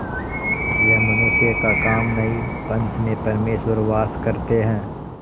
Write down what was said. यह मनुष्य का काम नहीं पंच में परमेश्वर वास करते हैं